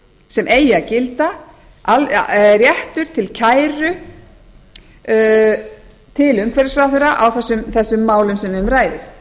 sem eigi að gilda réttur til kæru til umhverfisráðherra á þessum málum sem um ræðir og